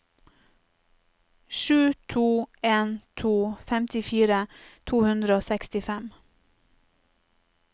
sju to en to femtifire to hundre og sekstifem